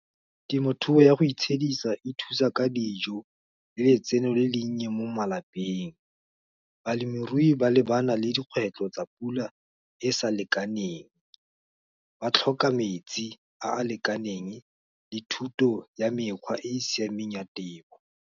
Temothuo ya go itshedisa, e thusa ka dijo, le letseno le le nnye, mo malapeng. Balemirui ba lebana le dikgwetlho tsa pula e sa lekaneng, ba tlhoka metsi, a a lekaneng, le thuto ya mekgwa e e siameng ya temo.